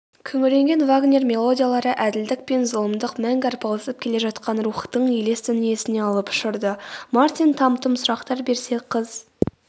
күңіренген вагнер мелодиялары әділдік пен зұлымдық мәңгі арпалысып келе жатқан рухтың елес дүниесіне алып ұшырды.мартин там-тұм сұрақтар берсе қыз